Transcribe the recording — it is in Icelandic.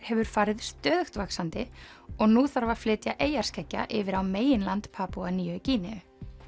hefur farið stöðugt vaxandi og nú þarf að flytja eyjarskeggja yfir á meginland Papúa nýju Gíneu